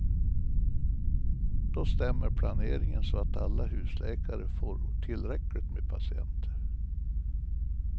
Då stämmer planeringen så att alla husläkare får tillräckligt med patienter.